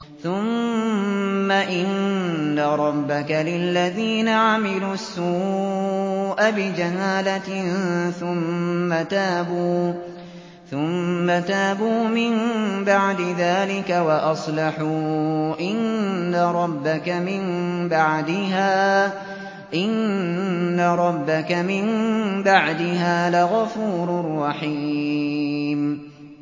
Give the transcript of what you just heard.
ثُمَّ إِنَّ رَبَّكَ لِلَّذِينَ عَمِلُوا السُّوءَ بِجَهَالَةٍ ثُمَّ تَابُوا مِن بَعْدِ ذَٰلِكَ وَأَصْلَحُوا إِنَّ رَبَّكَ مِن بَعْدِهَا لَغَفُورٌ رَّحِيمٌ